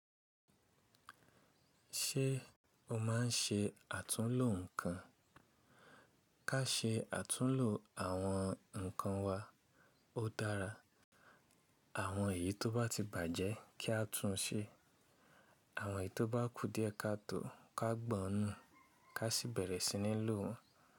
Ṣé o máa ń ṣe àtúnlo nǹkan? Ká ṣe àtúnlo àwọn nǹkan wa, ó dára. Àwọn èyí tó bá ti bàjẹ́ kí á tún un ṣe. Àwọn èyí tó bá kú díẹ̀ ká tò ó, ká gbọ̀n nún, ká sì bẹ̀rẹ̀ sí ní lò wọ́n.